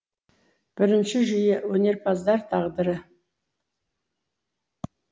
бірінші жүйе өнерпаздар тағдыры